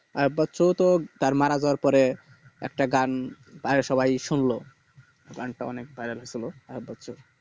আইয়ুব বাচ্চু তো তার মারা যাওয়ার পরে একটা গান বাইরে সবাই শুনলো গানটা অনেক viral হৈছিল আইয়ুব বাচ্চু